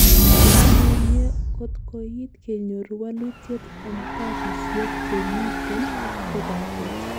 Mamunye kotkoit kenyor walutiet en tapiisiek chemiten kobatech